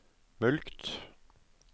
mulkt